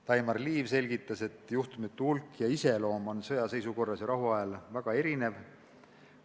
Daimar Liiv selgitas, et juhtumite hulk ja iseloom on sõjaseisukorra ajal ja rahuajal väga erinev.